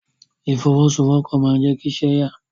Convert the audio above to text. Ìfọwọ́sowọ́pọ̀ máa n jẹ kí iṣẹ́ ya.